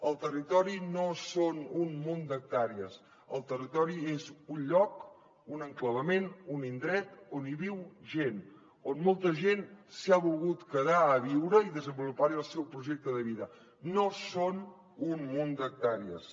el territori no són un munt d’hectàrees el territori és un lloc un enclavament un indret on viu gent on molta gent s’ha volgut quedar a viure i desenvolupar hi el seu projecte de vida no són un munt d’hectàrees